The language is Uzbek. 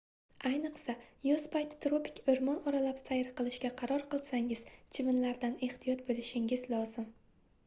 ayniqsa yoz payti tropik oʻrmon oralab sayr qilishga qaror qilsangiz chivinlardan ehtiyot boʻlishingiz lozim